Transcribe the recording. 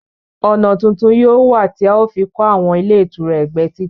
Ọ̀nà tuntun yóò wà tí a ó fi kọ àwọn ilé ìtura ẹgbẹ́ títì